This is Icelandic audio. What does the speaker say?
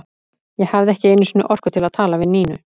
Ég hafði ekki einu sinni orku til að tala við Nínu.